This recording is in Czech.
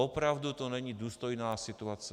Opravdu to není důstojná situace.